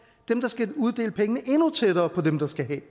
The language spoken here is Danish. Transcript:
dem der skal uddele pengene endnu tættere på dem der skal have